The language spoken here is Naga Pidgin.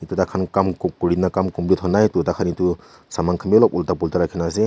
tu taikhan kam kurina kam complete hwa nai toh taikhan etu saman khan bi olop ulta pulta rakhina ase.